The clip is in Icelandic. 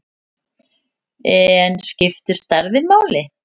En skiptir stærðin máli?